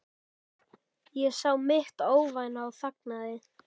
Ég sá mitt óvænna og þagði.